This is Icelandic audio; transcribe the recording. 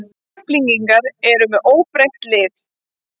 Keflvíkingar eru með óbreytt lið.